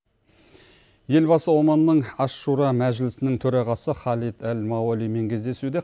елбасы оманның аш шура мәжілісінің төрағасы халит әл мауалимен кездесуде